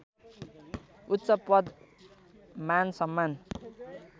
उच्चपद मानसम्मान